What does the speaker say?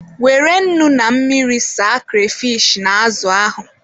Were nnu na mmiri saa kreyfish na azụ ahụ.